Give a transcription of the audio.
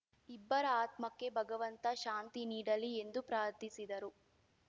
ಇಬ್ಬರ ಆತ್ಮಕ್ಕೆ ಭಗವಂತ ಶಾಂತಿ ನೀಡಲಿ ಎಂದು ಪ್ರಾರ್ಥಿಸಿದರು